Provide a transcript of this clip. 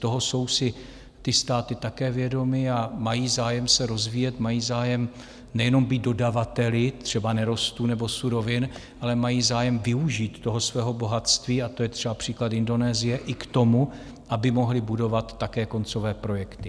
Toho jsou si ty státy také vědomy a mají zájem se rozvíjet, mají zájem nejenom být dodavateli třeba nerostů nebo surovin, ale mají zájem využít toho svého bohatství, a to je třeba příklad Indonésie, i k tomu, aby mohly budovat také koncové projekty.